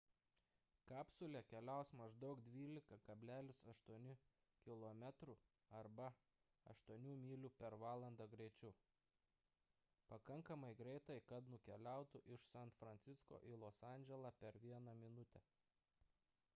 kapsulė keliaus maždaug 12,8 kilometrų arba 8 mylių per valandą greičiu – pakankamai greitai kad nukeliautų iš san francisko į los andželą per vieną minutę